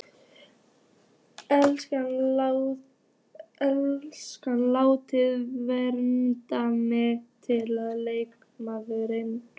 Enska álitið: Vanmetnasti leikmaðurinn?